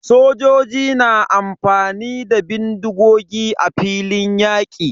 Sojoji na amfani da bindigogi a filin yaƙi.